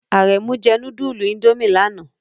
Aremu jẹ nudulu Indomie lana